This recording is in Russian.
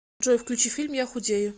джой включи фильм я худею